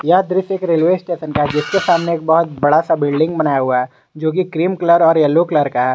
यह दृश्य एक रेलवे स्टेशन का है जिसके सामने एक बहुत बड़ा सा बिल्डिंग बनाया हुआ है जो की क्रीम कलर और येलो कलर का है।